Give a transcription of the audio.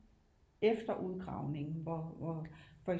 Efter udgravningen hvor